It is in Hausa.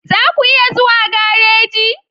Za ku iya zuwa gareji?